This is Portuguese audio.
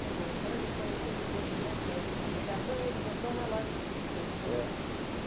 Quer dizer, então ele foi ele teve um bom crédito no regatão e ele botou uma loja fixa, então? É